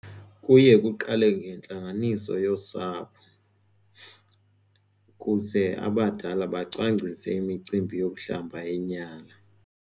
Kuye kuqale ngentlanganiso yosapho kuze abadala bacwangcise imicimbi yokuhlamba inyala.